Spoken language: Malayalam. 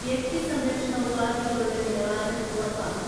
വ്യക്തിസംരക്ഷണഉപാധികളുടെ നിലവാരം ഉറപ്പാക്കും